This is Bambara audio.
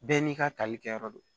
Bɛɛ n'i ka talikɛ yɔrɔ do